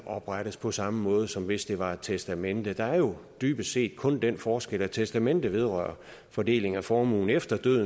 oprettes på samme måde som hvis det var et testamente der er jo dybest set kun den forskel at testamentet vedrører fordelingen af formuen efter døden